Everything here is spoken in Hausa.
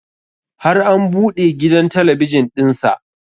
Har an buɗe gidan talabijin ɗin sa